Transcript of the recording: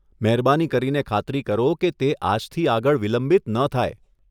મહેરબાની કરીને ખાતરી કરો કે તે આજથી આગળ વિલંબિત ન થાય.